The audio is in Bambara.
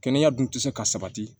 Kɛnɛya dun tɛ se ka sabati